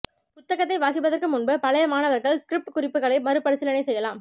புத்தகத்தை வாசிப்பதற்கு முன்பு பழைய மாணவர்கள் ஸ்க்ரிஃப்ட் குறிப்புகளை மறுபரிசீலனை செய்யலாம்